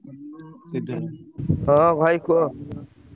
ହଁ ଭାଇ କୁହ।